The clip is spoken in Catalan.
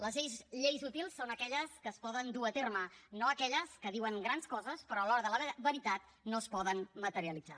les lleis útils són aquelles que es poden dur a terme no aquelles que diuen grans coses però a l’hora de la veritat no es poden materialitzar